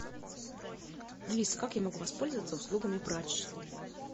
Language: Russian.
алиса как я могу воспользоваться услугами прачечной